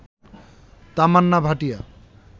Tamannaah Bhatia